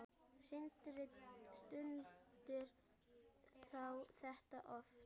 Sindri: Stundar þú þetta oft?